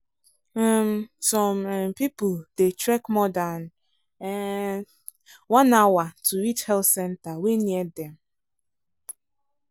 um some um some people dey trek more than um one hour to reach health centre wey near dem.